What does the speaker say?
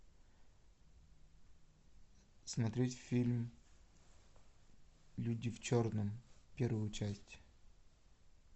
смотреть фильм люди в черном первую часть